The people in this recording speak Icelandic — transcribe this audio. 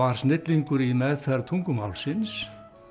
snillingur í meðferð tungumálsins